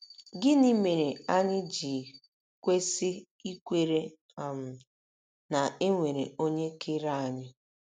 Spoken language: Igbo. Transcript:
Gịnị mere anyị ji kwesị ikwere um na e nwere onye kere anyị?